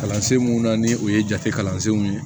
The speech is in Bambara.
Kalansen mun na ni o ye jate kalansenw ye